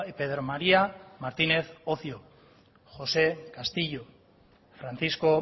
pedro maría martínez ocio josé castillo francisco